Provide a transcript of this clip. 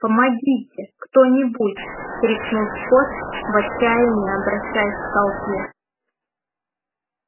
помогите кто-нибудь крикнул скотт в отчаянии обращаясь к толпе